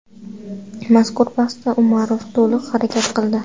Mazkur bahsda Umarov to‘liq harakat qildi.